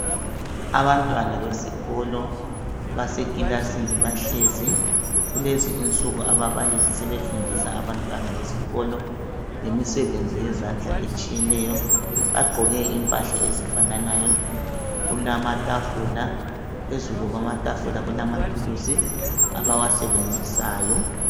Abantwana besikolo basekilasini bahlezi kulezi insuku ababalisi sebefundisa ebantwana besikolo imisebenzi yezandla etshiyeneyo ,bagqoke impahla ezifananayo kulamatafula, phezu kwamatafula kulamathuzi abawasenzisayo.